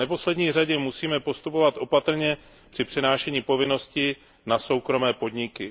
V neposlední řadě musíme postupovat opatrně při přenášení povinností na soukromé podniky.